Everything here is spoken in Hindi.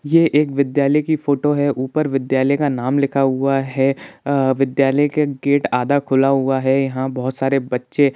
ये एक विद्यालय की फोटो है ऊपर विद्यालय का नाम लिखा हुआ है अ विद्यालय का गेट आधा खुला हुआ है यहाँ बहुत सारे बच्चे --